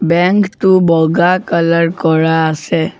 Bank টো বগা colour কৰা আছে।